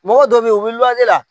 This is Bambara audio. Mɔgɔ dɔ bɛ ye u bɛ luwanze la.